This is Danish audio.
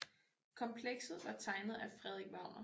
Komplekset var tegnet af Frederik Wagner